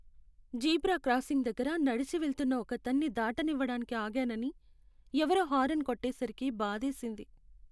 Zebra crossing దగ్గర నడిచి వెళ్తున్న ఒకతణ్ణి దాటనివ్వడానికి ఆగానని, ఎవరో హారన్ కొట్టేసరికి బాధేసింది.